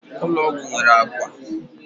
ụlọ ọgwụ nwere akwa akwa